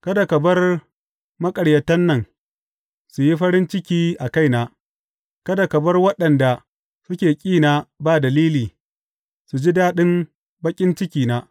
Kada ka bar maƙaryatan nan, su yi farin ciki a kaina; kada ka bar waɗanda suke ƙina ba dalili, su ji daɗin baƙin cikina.